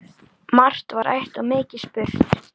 Margt var rætt og mikið spurt.